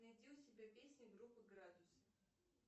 найди у себя песню группы градусы